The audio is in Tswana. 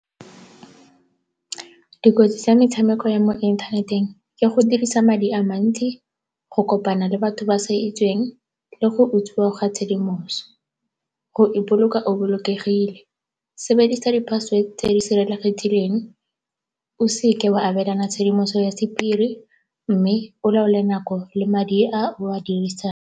Dikotsi tsa metshameko ya mo inthaneteng ke go dirisa madi a mantsi, go kopana le batho ba sa itsiweng le go utswiwa ga tshedimosetso. Go ipoloka o bolokegile, sebedisa di-password tse di sireletsegileng, o se ke wa abelana ka tshedimoso ya sephiri mme o laole nako le madi a o a dirisang.